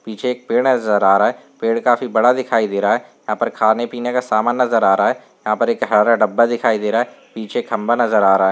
पीछे एक पेड़ नजर आ रहा है। पेड़ काफी बडा दिखाई दे रहा है। यहाँ पर खाने पीने का सामान नजर आ रहा है। यहाँ पर एक हरा डब्बा दिखाई दे रहा है। पीछे खंभा नजर आ रहा है।